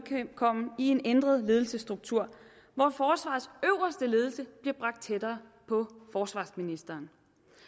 en ændret ledelsesstruktur hvor forsvarets øverste ledelse bliver bragt tættere på forsvarsministeren